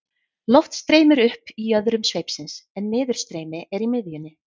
Loft streymir upp í jöðrum sveipsins en niðurstreymi er í miðjunni.